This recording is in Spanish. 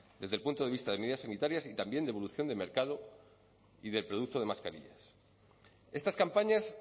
desde el punto de vista de medidas sanitarias y también de evolución del mercado y de producto de mascarillas estas campañas